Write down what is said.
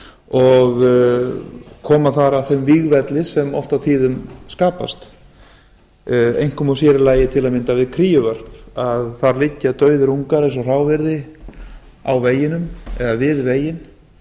og koma að þeim vígvelli sem oft á tíðum skapast þar einkum og sér í lagi við kríuvörp þar liggja dauðir ungar eins og hráviði á veginum eða við veginn